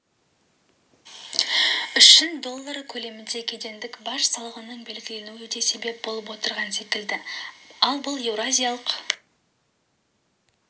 үшін доллары көлемінде кедендік баж салығының белгіленуі де себеп болып отырған секілді ал бұл еуразиялық